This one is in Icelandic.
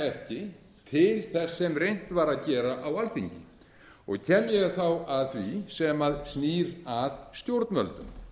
ekki til þess sem reynt var að gera á alþingi kem ég þá að því sem snýr að stjórnvöldum